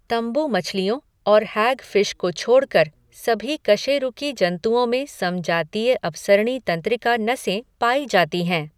तंबू मछलियों और हैगफ़िश को छोड़कर सभी कशेरुकी जंतुओं में समजातीय अपसरणी तंत्रिका नसें पाई जाती हैं।